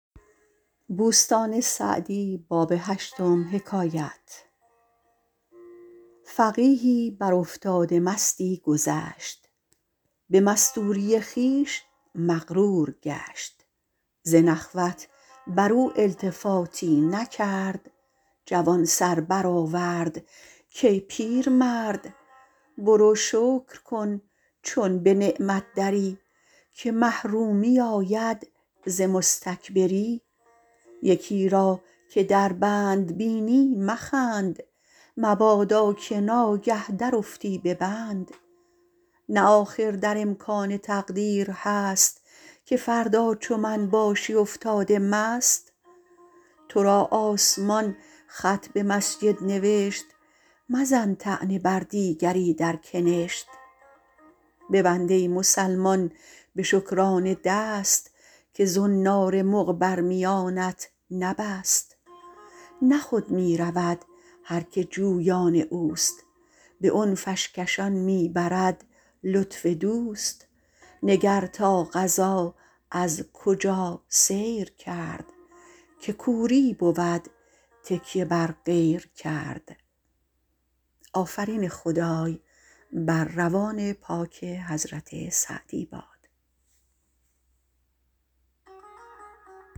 فقیهی بر افتاده مستی گذشت به مستوری خویش مغرور گشت ز نخوت بر او التفاتی نکرد جوان سر برآورد کای پیرمرد برو شکر کن چون به نعمت دری که محرومی آید ز مستکبری یکی را که در بند بینی مخند مبادا که ناگه درافتی به بند نه آخر در امکان تقدیر هست که فردا چو من باشی افتاده مست تو را آسمان خط به مسجد نوشت مزن طعنه بر دیگری در کنشت ببند ای مسلمان به شکرانه دست که زنار مغ بر میانت نبست نه خود می رود هر که جویان اوست به عنفش کشان می برد لطف دوست نگر تا قضا از کجا سیر کرد که کوری بود تکیه بر غیر کرد